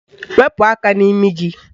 Wepu aka n'imi gị!